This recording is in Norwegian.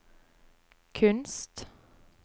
kunst